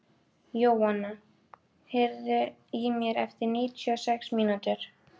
Jóanna, heyrðu í mér eftir níutíu og sex mínútur.